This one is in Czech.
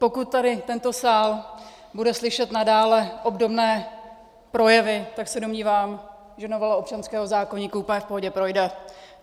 Pokud tady tento sál bude slyšet nadále obdobné projevy, tak se domnívám, že novela občanského zákoníku úplně v pohodě projde.